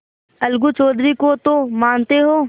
अलगू चौधरी को तो मानते हो